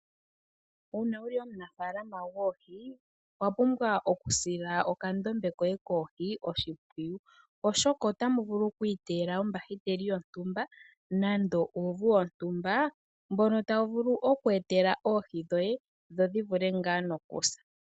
Uuna wuli omunafalama gwoohi owapumbwa okusila okandombe koye koohi oshimpwiyu oshoka otamu vulu oku iteyela ombahiteli yontumba nenge uuvu wontumba mbono tawu vulu oku etela oohi dhoye dho dhi vule nga nokusa.